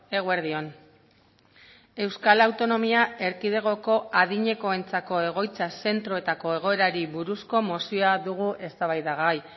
eguerdi on euskal autonomia erkidegoko adinekoentzako egoitza zentroetako egoerari buruzko mozioa dugu eztabaidagai